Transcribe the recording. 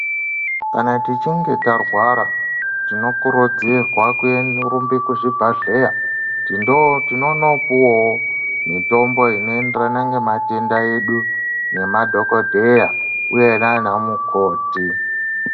Kana tichinge tarwara, tinokurudzirwa kurumba kuzvibhadhleya tinondopuwawo mitombo inoenderana ngematenda edu, ngema dhokodheya uye nana mukoti .